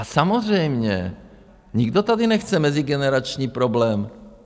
A samozřejmě nikdo tady nechce mezigenerační problém.